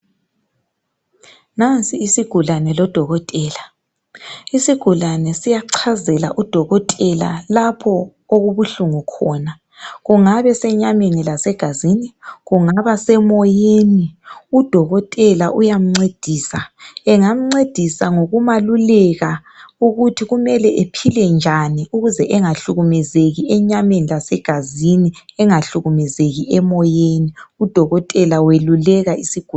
Nansi isigulane lodokotela. Isigulane siyachazela udokotela lapho okubuhlungu khona. Kungaba senyameni lasegazini. Kungaba semoyeni, udokotela uyamncedisa. Angamncedisa ngokumaluleka ukuthi kumele ephile njani, ukuze angahlukumezeki enyameni lasegazini. Udokotela weluleka isigulane.